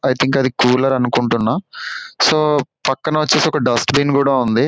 I think అది cooler అనుకుంటున్నా so పక్కన వచ్చేసి ఒక డస్ట్ బిన్ కూడా ఉంది.